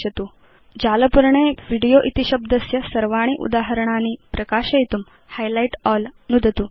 अधुना जालपर्णे वीडियो इति शब्दस्य सर्वाणि उदाहरणानि प्रकाशयितुं हाइलाइट अल् नुदतु